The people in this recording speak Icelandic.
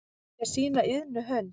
með sína iðnu hönd